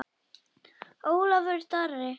Ólafur Darri.